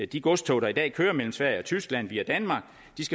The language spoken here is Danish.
de godstog der i dag kører mellem sverige og tyskland via danmark